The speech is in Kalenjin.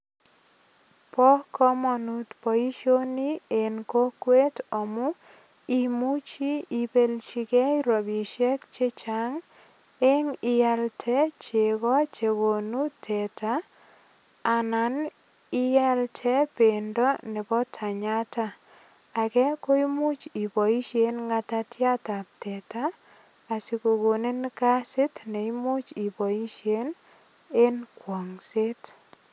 Bo komanut boisioni en kokwet amu imuchi ipelchigei ropisiek che chang eng ialte chego chegonu teta anan ialte bendo nebo tenyata. Age ko imuch iboisien ng'atatiatab teta asigogonin kasit ne imuch iboisien eng kwong'set.